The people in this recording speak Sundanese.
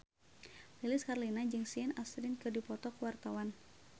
Lilis Karlina jeung Sean Astin keur dipoto ku wartawan